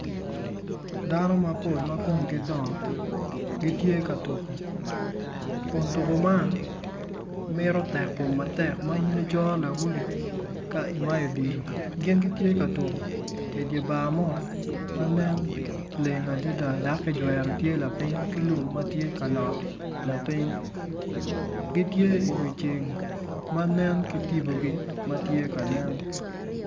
Dano mapol ma komgi dongo gitye k tuko kun tuko man mito tekkom matek ma in icoro lawoti ka imayo odilo gin gitye ka tuko idye bar mo ma nen leng adida dok kijwero tye lapiny ki lum ma tye ka olot lapiny gitye iwi ceng ma nen ki tipogi ma tye ka nen.